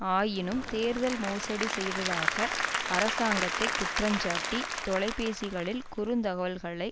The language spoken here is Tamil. ஆயினும் தேர்தல் மோசடி செய்ததாக அரசாங்கத்தை குற்றஞ்சாட்டி தொலைபேசிகளில் குறுந்தகவல்களை